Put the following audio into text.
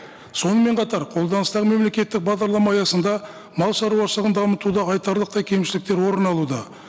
сонымен қатар қолданыстағы мемлекеттік бағдарлама аясында мал шаруашылығын дамытуды айтарлықтай кемшіліктер орын алуда